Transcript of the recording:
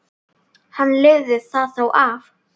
Hann lifir það þó af.